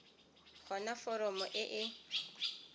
go na foromo e e